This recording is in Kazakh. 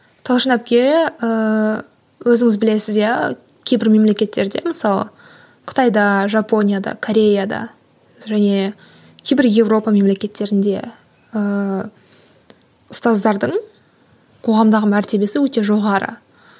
талшын әпке ііі өзіңіз білесіз иә кейбір мемлекеттерде мысалы қытайда жапонияда кореяда және кейбір европа мемлекеттерінде ыыы ұстаздардың қоғамдағы мәртебесі өте жоғары